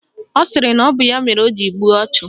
Ọ sịrị na ọ bụ ya mere o ji gbuo ọchụ